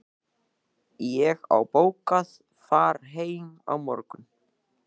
Ég á bókað far heim á morgun.